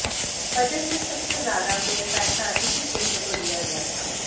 budget में सबसे ज्यादा पैसा इसी क्षेत्र को दिया गया था